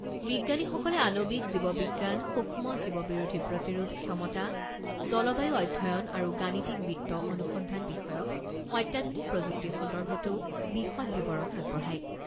বিজ্ঞানীসকলে আণৱিক জীৱ বিজ্ঞান, সূক্ষ্ম জীৱ বিৰোধী প্ৰতিৰোধ ক্ষমতা, জলবায়ু অধ্যয়ন আৰু গাণিতিক বিত্ত অনুসন্ধান বিষয়ক অত্যাধুনিক প্ৰযুক্তি সন্দৰ্ভতো বিশদ বিৱৰণ আগবঢ়ায়।